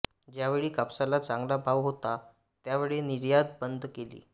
ज्यावेळी कापसाला चांगला भाव होता त्यावेळी निर्यात बन्द केली